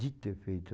Dito e feito.